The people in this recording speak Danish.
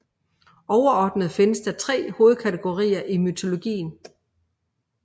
Overordnet findes der tre hovedkategorier i mytologien